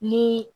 Ni